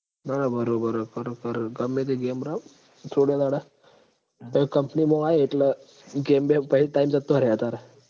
બરોબર કરો કરો ગમે તે game રમ થોડા દાડા પહી company મ આયે એટલ game પહી time જતો રેહે તાર